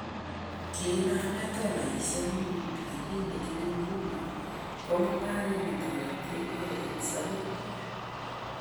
Kinaamen tolaisiek muut lagini en inguni komugaaret netoretege en sobeet.